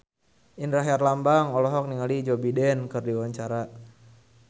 Indra Herlambang olohok ningali Joe Biden keur diwawancara